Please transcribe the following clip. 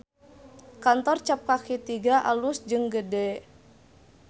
Kantor Cap Kaki Tiga alus jeung gede